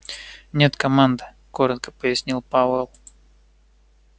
нет команд коротко пояснил пауэлл